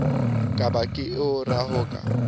ka ba ke o rohaka